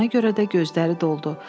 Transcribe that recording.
Buna görə də gözləri doldu.